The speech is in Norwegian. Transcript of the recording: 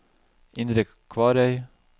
Indre Kvarøy